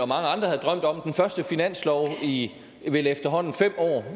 mange andre havde drømt om den første finanslov i efterhånden fem år